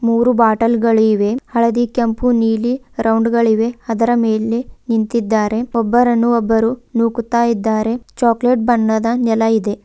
ಮೂರು ಬಾಟಲ್ ಗಳಿವೆ ಹಳದಿ ಕೆಂಪು ನೀಲಿ ರೌಂಡ್ ಗಳಿವೆ ಇದರ ಮೇಲೆ ನಿಂತಿದ್ದಾರೆ ಒಬ್ಬರನ್ನು ಒಬ್ಬರು ನೂಕುತಿದ್ದಾರೆ ಚಾಕಲೇಟ್ ಬಣ್ಣದ ನೆಲ ಇದೆ.